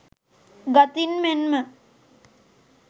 ගතින් මෙන්ම